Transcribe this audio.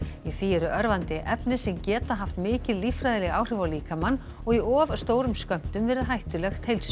í því eru örvandi efni sem geta haft mikil lífræðileg áhrif á líkamann og í of stórum skömmtum verið hættulegt heilsu